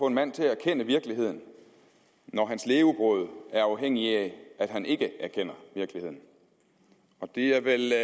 en mand til at erkende virkeligheden når hans levebrød er afhængig af at han ikke erkender virkeligheden det er vel et